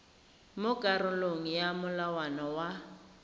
mo karolong ya molawana wa